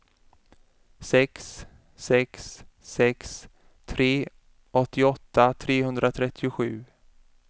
sex sex sex tre åttioåtta trehundratrettiosju